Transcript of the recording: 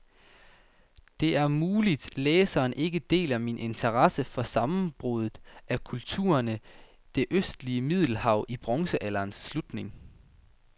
Det er muligt, læseren ikke deler min interesse for sammenbruddet af kulturerne i det østlige middelhav i bronzealderens slutning.